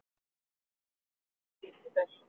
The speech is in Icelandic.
Dyggðin væri grunngildi þess.